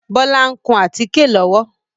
Bọlá ń kùn àtíké lọ́wọ́